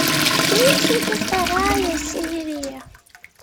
фиксики вторая серия